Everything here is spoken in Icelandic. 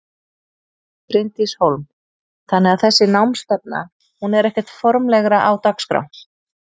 Bryndís Hólm: Þannig að þessi námsstefna hún er ekkert formlegra á dagskrá?